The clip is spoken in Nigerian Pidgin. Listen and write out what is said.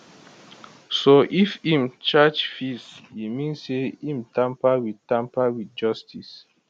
so if im charge fees e mean say im tamper wit tamper wit justice